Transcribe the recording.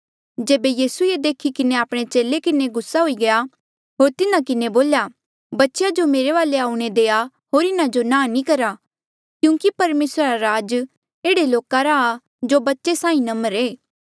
जेबे यीसू ये देखी किन्हें आपणे चेले किन्हें गुस्सा हुई गया होर तिन्हा किन्हें बोल्या बच्चेया जो मेरे वाले आऊणें देआ होर इन्हा जो नांह नी करा क्यूंकि परमेसरा रा राज ऐहड़े लोका रा आ जो बच्चे साहीं नम्र ऐें